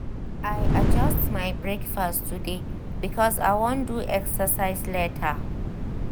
i adjust my breakfast today because i wan do exercise later.